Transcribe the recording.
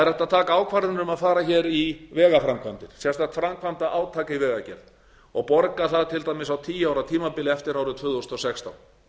að taka ákvarðanir um að fara í vegaframkvæmdir sérstakt framkvæmdaátak í vegagerð og borga það til dæmis á tíu ára tímabili eftir árið tvö þúsund og sextán